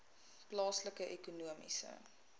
plaaslike ekonomiese